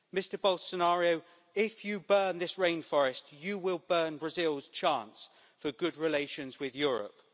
Mr Bolsonaro, if you burn this rainforest, you will burn Brazil's chance for good relations with Europe.